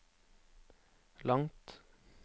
langt